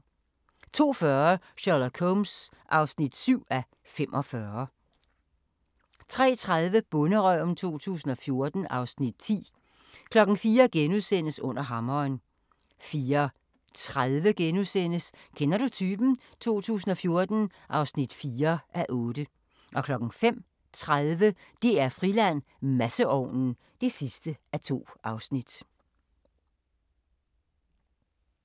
02:40: Sherlock Holmes (7:45) 03:30: Bonderøven 2014 (Afs. 10) 04:00: Under hammeren * 04:30: Kender du typen? 2014 (4:8)* 05:30: DR-Friland: Masseovnen (2:2)